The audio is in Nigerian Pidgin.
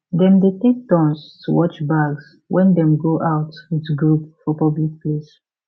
dem dey take turns to watch bags when dem go out with group for public place